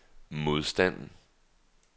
modstand